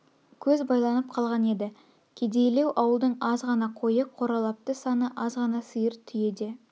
көз байланып қалған еді кедейлеу ауылдың аз ғана қойы қоралапты саны аз ғана сиыр түйе де